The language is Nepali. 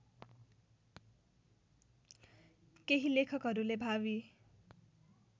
केही लेखकहरूले भावी